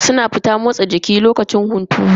Suna fita motsa jiki da lokacin hunturu.